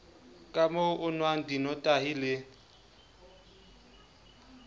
kamoo o nwang dinotahi le